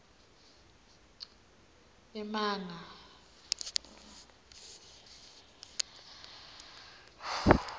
emananga